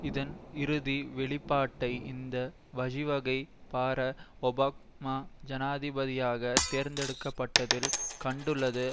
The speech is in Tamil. இதன் இறுதி வெளிப்பாட்டை இந்த வழிவகை பாரக் ஒபாமா ஜனாதிபதியாக தேர்ந்தெடுக்க பட்டதில் கண்டுள்ளது